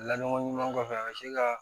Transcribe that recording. Laɲɔgɔn ɲuman kɔfɛ a bɛ se ka